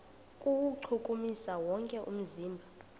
kuwuchukumisa wonke umzimba